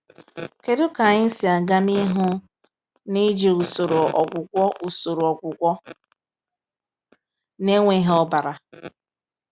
Kedu ka anyị si aga n’ihu n’iji usoro ọgwụgwọ usoro ọgwụgwọ na-enweghị ọbara?